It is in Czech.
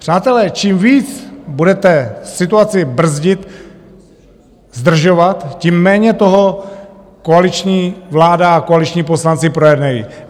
Přátelé, čím víc budete situaci brzdit, zdržovat, tím méně toho koaliční vláda a koaliční poslanci projednají.